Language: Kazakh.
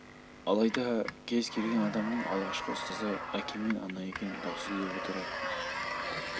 алайда кез келген адамның алғашқы ұстазы әке мен ана екені даусыз деп отыратын